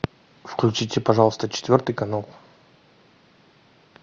включите пожалуйста четвертый канал